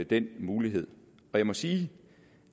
den mulighed og jeg må sige